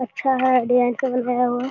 अच्छा है डिज़ाइन से बनाया हुआ है।